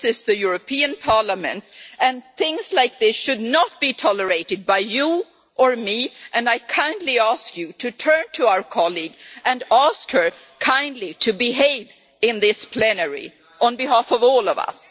This is the European Parliament and things like this should not be tolerated by you or me and I kindly ask you to turn to our colleague and ask her kindly to behave in this plenary, on behalf of all of us.